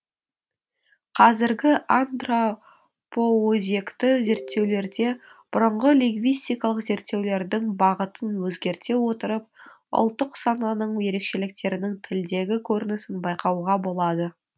қазіргі антро по өзекті зерттеулерде бұрынғы лингвистикалық зерттеулердің бағытын өзгерте отырып ұлттық сананың ерекшеліктерінің тілдегі көрінісін байқауға болады